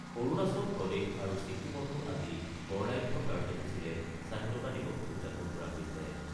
অৰুণাচল প্ৰদেশ আৰু ছিক্কিমতো আজি বৰ্ণাঢ্য কাৰ্যসূচীৰে স্বাধীনতা দিৱস উদযাপন কৰা হৈছে।